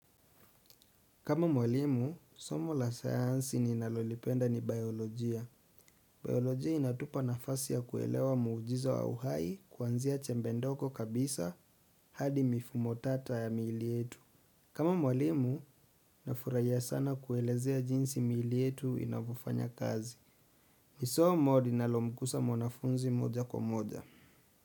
Kama mwalimu, somo la sayansi ninalolipenda ni biolojia. Biolojia inatupa nafasi ya kuelewa muujiza wa uhai kuanzia chembe ndogo kabisa hadi mifumo tata ya miili yetu. Kama mwalimu, nafurahia sana kuelezea jinsi miili yetu inavyofanya kazi. Ni somo linalomkusa mwanafunzi moja kwa moja.